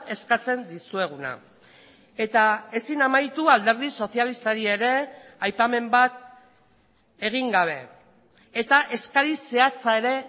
eskatzen dizueguna eta ezin amaitu alderdi sozialistari ere aipamen bat egin gabe eta eskari zehatza ere